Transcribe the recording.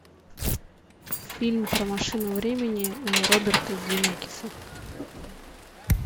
фильм про машину времени роберта земекиса